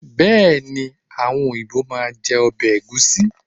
Bẹ́ẹ̀ni, àwọn òyìnbó máa jẹ ọbẹ̀ Ẹ̀gúsí.